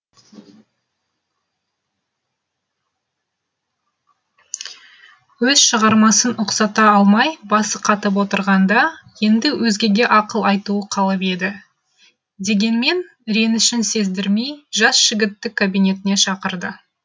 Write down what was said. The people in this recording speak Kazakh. өз шығармасын ұқсата алмай басы қатып отырғанда енді өзгеге ақыл айтуы қалып еді дегенмен ренішін сездірмей жас жігітті кабинетіне шақырды